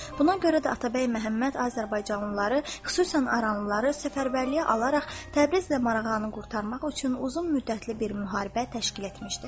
Buna görə də Atabəy Məhəmməd azərbaycanlıları, xüsusən aranlıları səfərbərliyə alaraq Təbriz və Marağanı qurtarmaq üçün uzun müddətli bir müharibə təşkil etmişdi.